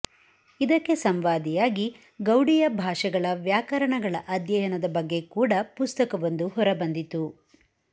ಇದಕ್ಕೆ ಸಂವಾದಿಯಾಗಿ ಗೌಡೀಯ ಭಾಷೆಗಳ ವ್ಯಾಕರಣಗಳ ಅಧ್ಯಯನದ ಬಗ್ಗೆ ಕೂಡಾ ಪುಸ್ತಕವೊಂದು ಹೊರ ಬಂದಿತು